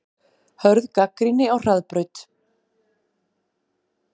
Hörð gagnrýni á Hraðbraut